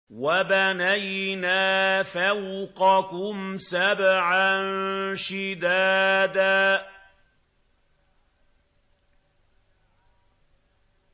وَبَنَيْنَا فَوْقَكُمْ سَبْعًا شِدَادًا